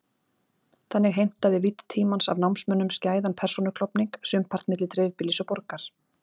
Þannig heimtaði vídd tímans af námsmönnum skæðan persónuklofning, sumpart milli dreifbýlis og borgar.